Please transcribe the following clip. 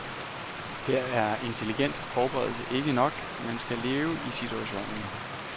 Her er intelligent forberedelse ikke nok, man skal leve i situationen.